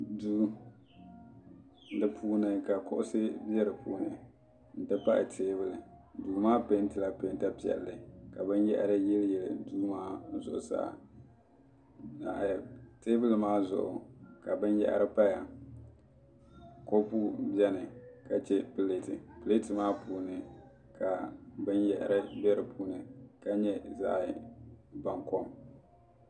duu ka kuɣusi bɛ di puuni n ti pahi teebuli duu maa peentila peenta piɛlli ka binyahari yili yili duu maa zuɣusaa ka teebuli maa zuɣu ka binyahri paya kɔpu biɛni ka chɛ pileeti pileeti maa puuni ka binyahari bɛ di puuni ka nyɛ zaɣ baŋkɔm